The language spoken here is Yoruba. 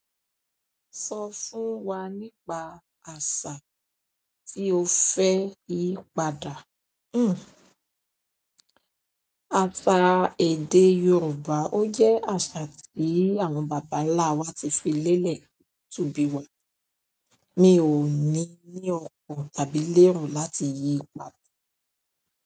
Sọ fún wa nípa àṣà tí o fẹ́ yí padà. Hmmm. Àṣà èdè Yorùbá, ó jẹ́ àṣà tí àwọn bàbá ńlá wa ti fi lélẹ̀ túbi wa. Mi ò ní ní ọkàn tàbí lero láti yí padà.